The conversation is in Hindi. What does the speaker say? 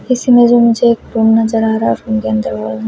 इसी में मुझे एक रूम नजर आ रहा है रूम के अंदर--